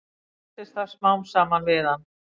Festist það smám saman við hann.